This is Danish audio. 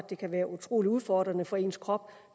det kan være utrolig udfordrende for ens krop